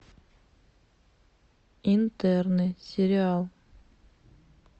интерны сериал